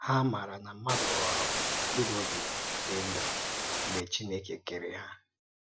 Há màrà na mmádụ ghọ̀rọ̀ mkpúrù òbì dì ndụ̀ mgbe Chínèkè kèrè há